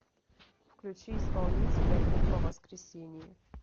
включи исполнителя группа воскресение